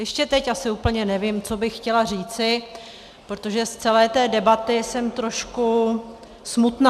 Ještě teď asi úplně nevím, co bych chtěla říci, protože z celé té debaty jsem trošku smutná.